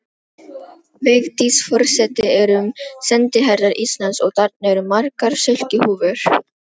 Vigdís forseti erum sendiherrar Íslands og þarna eru margar silkihúfur.